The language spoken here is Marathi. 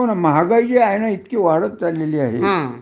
हो ना महागाई जी आहे ना इतकी वाढत चाललेली आहे